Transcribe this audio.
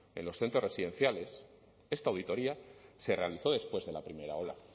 en los centros residenciales esta auditoría se realizó después de la primera ola